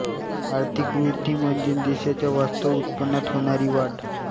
आर्थिक वृद्धी म्हणजे देशाच्या वास्तव उत्पन्नात होणारी वाढ